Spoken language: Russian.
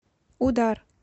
удар